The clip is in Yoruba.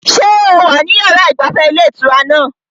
Ṣé o wà níbi yàrá ìgbafẹ́ ilé ìtura náà?